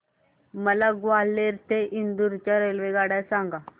मला ग्वाल्हेर ते इंदूर च्या रेल्वेगाड्या सांगा